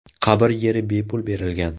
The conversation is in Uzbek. Qabr yeri bepul berilgan.